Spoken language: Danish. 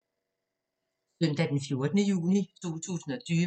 Søndag d. 14. juni 2020